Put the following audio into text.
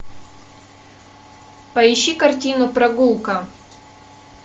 поищи картину прогулка